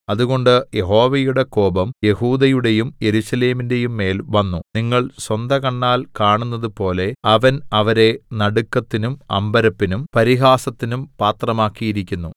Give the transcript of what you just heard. അതുകൊണ്ട് യഹോവയുടെ കോപം യെഹൂദയുടെയും യെരൂശലേമിന്റെയും മേൽ വന്നു നിങ്ങൾ സ്വന്തകണ്ണാൽ കാണുന്നതുപോലെ അവൻ അവരെ നടുക്കത്തിനും അമ്പരപ്പിനും പരിഹാസത്തിനും പാത്രമാക്കിയിരിക്കുന്നു